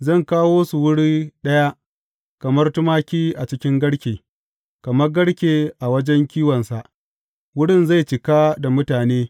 Zan kawo su wuri ɗaya kamar tumaki a cikin garke, kamar garke a wajen kiwonsa; wurin zai cika da mutane.